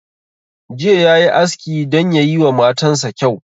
Jiya yayi aski don yayi wa matan sa kyau